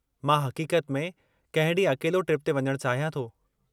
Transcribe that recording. मां हक़ीक़त में कंहिं ॾींहुं अकेलो ट्रिप ते वञणु चाहियां थो।